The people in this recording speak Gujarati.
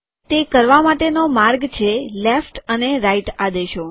તે કરવા માટેનો માર્ગ છે લેફ્ટ અને રાઈટ આદેશો